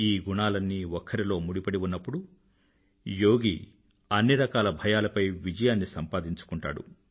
ఈ గుణాలన్నీ ఒక్కరిలో ముడిపడి ఉన్నప్పుడు యోగి అన్ని రకాలభయాలపై విజయాన్ని సంపాదించుకుంటాడు